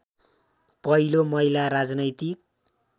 पहिलो महिला राजनैतिक